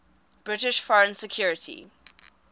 british foreign secretary